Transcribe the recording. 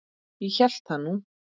Ég hélt það nú.